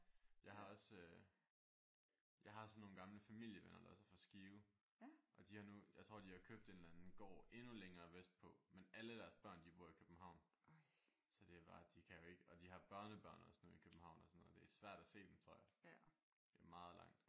Jeg har også øh jeg har også nogle gamle familievenner der også er fra Skive og de har nu jeg tror de har købt en eller anden gård endnu længere vestpå. Men alle deres børn de bor i København så det er bare de kan jo ikke og de har børnebørn også nu i København også og sådan noget. Det er svært at se dem tror jeg. Det er meget langt